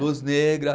Luz negra.